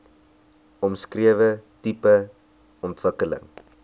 omskrewe tipe ontwikkeling